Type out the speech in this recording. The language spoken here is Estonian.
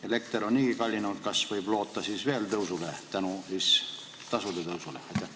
Elekter on niigi kallinenud, kas võib nüüd ennustada veelgi suuremat tõusu?